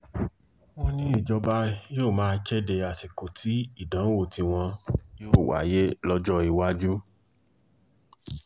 wọ́n ní ìjọba yóò máa kéde àsìkò tí ìdánwò tiwọn yóò wáyé lọ́jọ́ iwájú